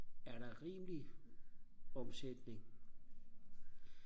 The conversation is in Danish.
er der rimelig omsætning